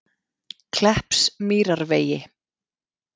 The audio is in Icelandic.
Kleppsmýrarvegi